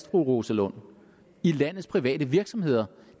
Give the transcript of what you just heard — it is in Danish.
fru rosa lund i landets private virksomheder